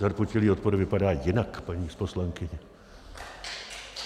Zarputilý odpor vypadá jinak, paní poslankyně.